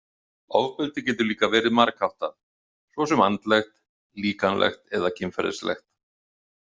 Ofbeldi getur líka verið margháttað, svo sem andlegt, líkamlegt eða kynferðislegt.